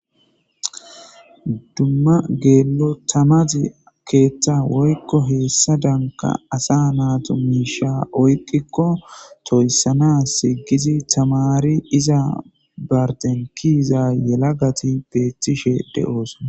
dumma geello tamazi keeththa woykko heessa danka asa naatu miisha oyqikko toyssana sigizi tamari iza barten kiiza yela gati beeththishe de7oosona